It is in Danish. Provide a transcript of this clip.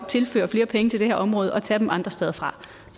tilføre flere penge til det her område og tage dem andre steder fra